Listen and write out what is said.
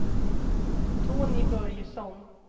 Tony Börjesson